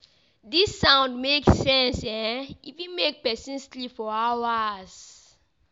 Dis sound make make sense e fit make pesin sleep for hours.